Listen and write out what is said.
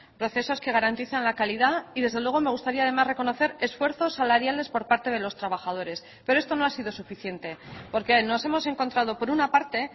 procesos que garantizan la calidad y desde luego me gustaría además reconocer esfuerzos salariales por parte de los trabajadores pero esto no ha sido suficiente porque nos hemos encontrado por una parte